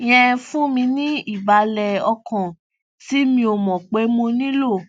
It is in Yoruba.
yẹn fún mi ní ìbàlè ọkàn tí mi ò mò pé mo nílò